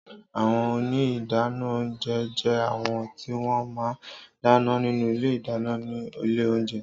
Àwõn óní ìdánõ ounjé jé àwõn ti wõn má n dánõ ninú ìlé ìdáñõ ni ìlé ounjé